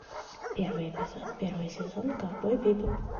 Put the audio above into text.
первый эпизод первый сезон ковбой бибоп